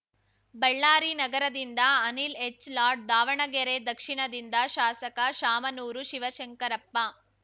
ಬಳ್ಳಾರಿ ನಗರದಿಂದ ಅನಿಲ್‌ ಎಚ್‌ಲಾಡ್‌ ದಾವಣಗೆರೆ ದಕ್ಷಿಣದಿಂದ ಶಾಸಕ ಶಾಮನೂರು ಶಿವಶಂಕರಪ್ಪ